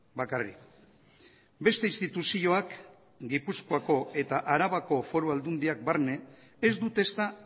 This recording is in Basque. bakarrik beste instituzioak gipuzkoako eta arabako foru aldundiak barne ez dute ezta